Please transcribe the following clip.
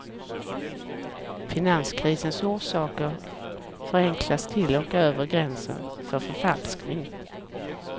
Finanskrisens orsaker förenklas till och över gränsen för förfalskning.